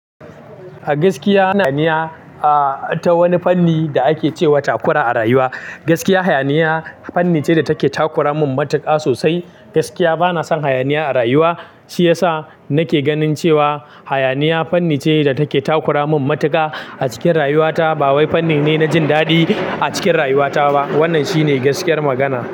Gaskiya, hayaniya ah ta wani fanni da ake cewa takura a rayuwa. Gaskiya hayaniya fanni ce da take takura mun matuƙa sosai. Gaskiya bana son hayaniya a rayuwa shiyasa nake ganin cewa hayaniya fanni ce da take takura mun matuƙa a cikin rayuwata. Ba wai fanni ne na jin daɗi a cikin rayuwata ba. Wannan shine gaskiyar magana.